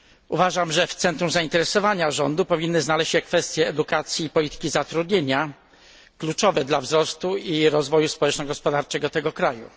Uważam, że w centrum zainteresowania rządu powinny znaleźć się kwestie edukacji i polityki zatrudnienia, kluczowe dla wzrostu i rozwoju społeczno gospodarczego tego kraju.